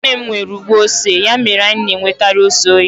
Nwanne m nwere ugbo ose, ya mere anyi na-enwekari ose oyi.